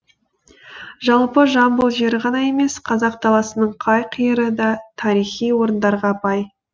жалпы жамбыл жері ғана емес қазақ даласының қай қиыры да тарихи орындарға бай